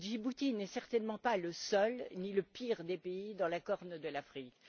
Et Djibouti n'est certainement pas le seul, ni le pire des pays dans la corne de l'Afrique.